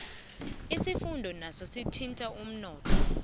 isivuno naso sithinta umnotho